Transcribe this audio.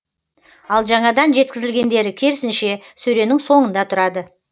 ал жаңадан жеткізілгендері керісінше сөренің соңында тұрады